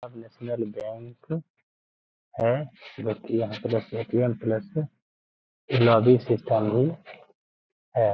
National bank है जो कि यहाँ पे ए.टी.एम प्लस भी है।